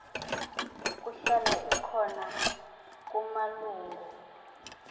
kuhlala ikhona kumalungu